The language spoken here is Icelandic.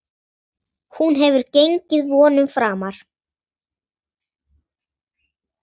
Hún hefur gengið vonum framar.